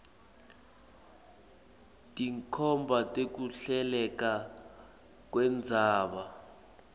tinkhomba tekuhleleka kwendzaba